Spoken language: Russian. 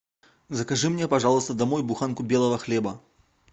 закажи мне пожалуйста домой буханку белого хлеба